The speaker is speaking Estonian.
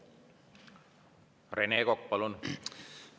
Rene Kokk, palun!